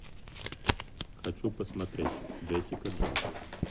хочу посмотреть джессика джонс